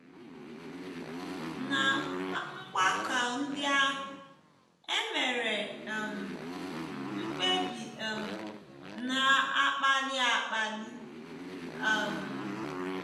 Ná mgbakọ ndị ahụ, e mere um mkpebi um na - akpali akpali um.